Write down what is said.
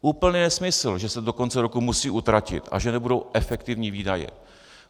Úplný nesmysl, že se do konce roku musí utratit a že nebudou efektivní výdaje.